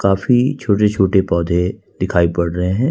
काफी छोटे छोटे पौधे दिखाई पड़ रहे हैं।